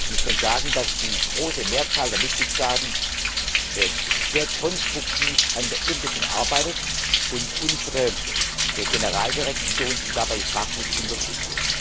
Ich kann sagen, dass die große Mehrzahl der Mitgliedstaaten sehr konstruktiv an der Umsetzung arbeitet und unsere Generaldirektion sie dabei fachlich unterstützt.